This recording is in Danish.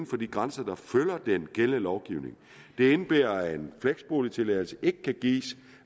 for de grænser der følger den gældende lovgivning det indebærer at en fleksboligtilladelse ikke kan gives